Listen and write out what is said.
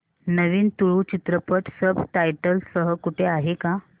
नवीन तुळू चित्रपट subtitles सह कुठे आहे का